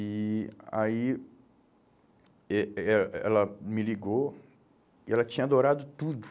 E aí eh eh ela me ligou e ela tinha adorado tudo.